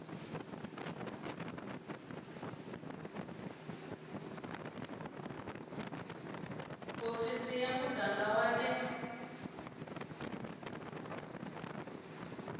hofisi ya muganga wa le